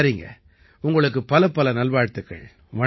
சரிங்க உங்களுக்குப் பலப்பல நல்வாழ்த்துக்கள்